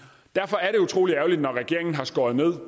utrolig ærgerligt når regeringen har skåret ned